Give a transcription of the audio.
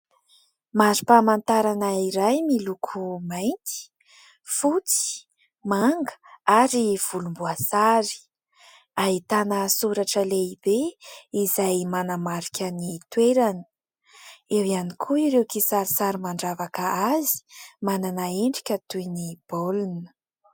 Mari-pamantarana iray miloko mainty, fotsy, manga ary volomboasary ; ahitana soratra lehibe izay manamarika ny toerana, eo ihany koa ireo kisarisary mandravaka azy, manana endrika toy ny baolina.